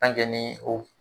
ni o